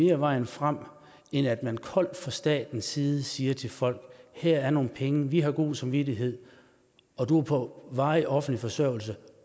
er vejen frem end at man koldt fra statens side siger til folk her er nogle penge vi har god samvittighed og du er på varig offentlig forsørgelse